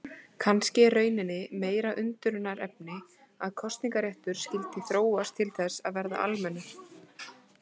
Kannski er í rauninni meira undrunarefni að kosningaréttur skyldi þróast til þess að verða almennur.